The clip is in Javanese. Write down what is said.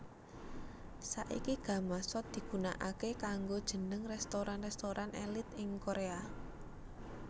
Saiki gamasot digunakaké kanggo jeneng restoran restoran èlit ing Korea